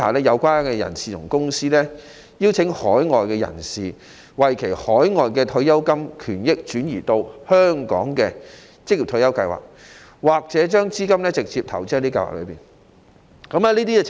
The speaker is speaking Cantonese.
有關的代理人邀請海外人士將其海外退休金權益轉移到香港的職業退休計劃，或把資金直接投資在香港的職業退休計劃。